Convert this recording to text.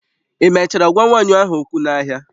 Ị mechara gwa nwanyị ahụ okwu n'ahịa?